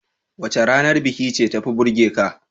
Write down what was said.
Wace ranar biki ce tafi burgeka?